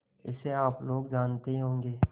इसे आप लोग जानते ही होंगे